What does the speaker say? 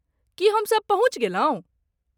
की हम सब पहुँचि गेलहुँ?